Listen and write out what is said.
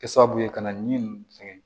Kɛ sababu ye ka na ni fɛngɛ ye